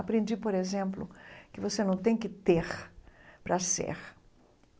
Aprendi, por exemplo, que você não tem que ter para ser.